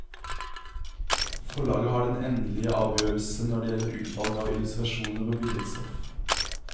Forlaget har den endelige avgjørelse når det gjelder utvalg av illustrasjoner og billedstoff.